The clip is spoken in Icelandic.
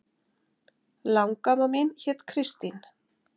Langamma mín hét Kristín